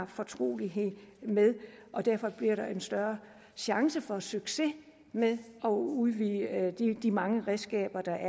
fortrolig med og derfor bliver der en større chance for succes med at udvide de mange redskaber der